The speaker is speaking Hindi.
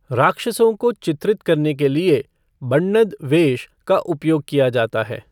राक्षसों को चित्रित करने के लिए 'बण्णद वेष' का उपयोग किया जाता है।